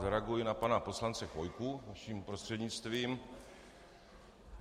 Zareaguji na pana poslance Chvojku vaším prostřednictvím.